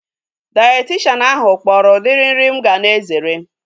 Dayetishanụ ahu kpọrọ udiri nri mụ ga na-ezere